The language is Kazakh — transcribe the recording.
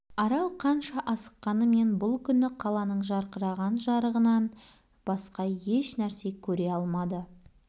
арал қанша асыққанымен бүл күні қаланың жарқыраған жарығынан басқа еш нәрсе көре алмады